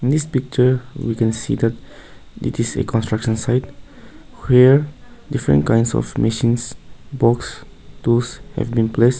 this picture we can see that it is a construction site where different kinds of machines books tools have been placed.